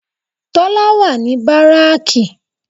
Tólá wà ní báráàkì